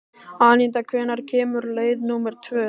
Anita, hvenær kemur leið númer tvö?